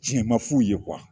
Cɛn man f'u ye